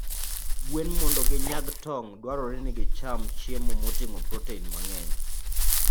Gwen mondo ginyag tong', dwarore ni gicham chiemo moting'o protein mang'eny.